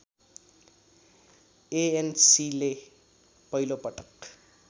एएनसीले पहिलोपटक